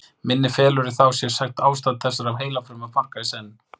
Minni felur þá í sér sérstakt ástand þessara heilafruma, margra í senn.